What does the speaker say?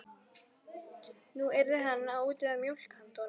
Nú yrði hann að útvega mjólk handa honum.